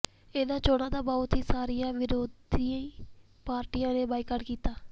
ਇਨ੍ਹਾਂ ਚੋਣਾਂ ਦਾ ਬਹੁਤ ਸਾਰੀਆਂ ਵਿਰੋਧੀ ਪਾਰਟੀਆਂ ਨੇ ਬਾਈਕਾਟ ਕੀਤਾ